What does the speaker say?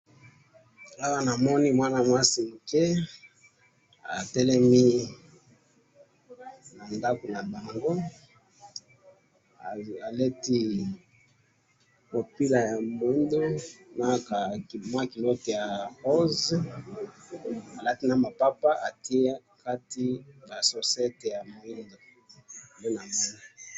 Awa namoni mwana mwasi muke, atelemi na ndako na bango, alati mopila ya moindo na ka mwa culotte ya rose, alati na mapapa atie na kati ba chaussettes ya moindo, nde namoni.